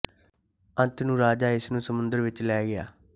ਅੰਤ ਨੂੰ ਰਾਜਾ ਇਸ ਨੂੰ ਸਮੁੰਦਰ ਵਿੱਚ ਲੈ ਗਿਆ